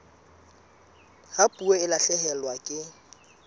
ha puo e lahlehelwa ke